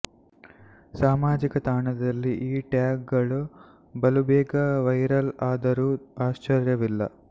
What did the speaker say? ಸಾಮಾಜಿಕ ತಾಣದಲ್ಲಿ ಈ ಟ್ಯಾಗ್ ಗಳು ಬಲುಬೇಗ ವೈರಲ್ ಆದರೂ ಆಶ್ಚರ್ಯವಿಲ್ಲ